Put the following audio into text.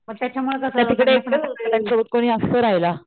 पण त्याच्यामुळे कसं